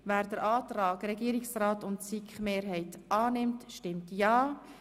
Wer den Antrag Regierungsrat und SiK-Mehrheit annimmt, stimmt ja,